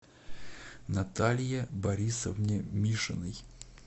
наталье борисовне мишиной